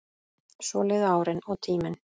Svo liðu árin og tíminn.